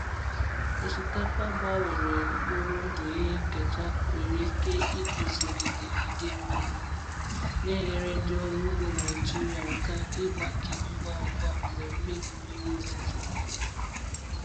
Osikapa gbanwere mkpụrụ ndụ ihe nketa nwere ike iguzogide idei mmiri, na-enyere ndị ọrụ ugbo Naijiria Naijiria aka ịgbake ngwa ngwa mgbe mmebi mmiri ozuzo mere.